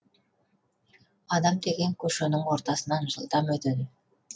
адам деген көшенің ортасынан жылдам өтеді